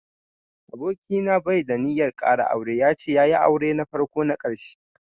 Aboki na bai da ninyar ƙara aure, ya ce ya yi aure na farko na ƙarshe.